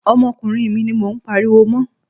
Ọmọkùnrin mi ni mo ń pariwo mọ́.